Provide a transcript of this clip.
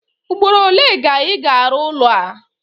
Ugboro ole ga Ị ga-arụ ụlọ a?